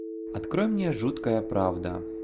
открой мне жуткая правда